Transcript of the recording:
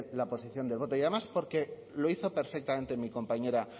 la posición del voto y además porque lo hizo perfectamente mi compañera